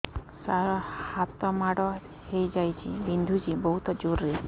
ସାର ହାତ ମାଡ଼ ହେଇଯାଇଛି ବିନ୍ଧୁଛି ବହୁତ ଜୋରରେ